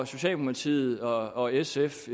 socialdemokratiet og og sf